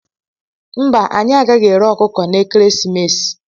Mba anyị agaghị ere ọkụkọ n' ekeresimesi.